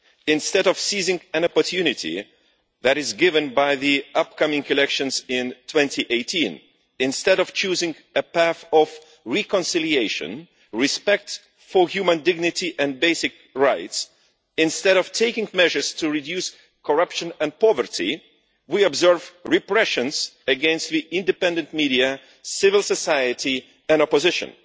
Instead of seizing an opportunity that is given by the upcoming elections in 2018, instead of choosing a path of reconciliation, respect for human dignity and basic rights, and instead of taking measures to reduce corruption and poverty, we observe repressions against the independent media, civil society and opposition.